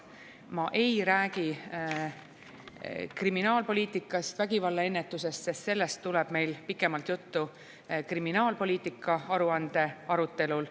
Ma ei räägi kriminaalpoliitikast, vägivallaennetusest, sest sellest tuleb meil pikemalt juttu kriminaalpoliitika aruande arutelul.